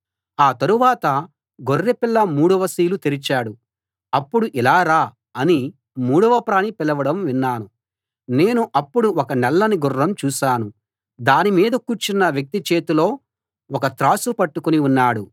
ఆ తరువాత గొర్రెపిల్ల మూడవ సీలు తెరిచాడు అప్పుడు ఇలా రా అని మూడవ ప్రాణి పిలవడం విన్నాను నేను అప్పుడు ఒక నల్లని గుర్రం చూశాను దానిమీద కూర్చున్న వ్యక్తి చేతిలో ఒక త్రాసు పట్టుకుని ఉన్నాడు